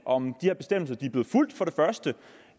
om de her bestemmelser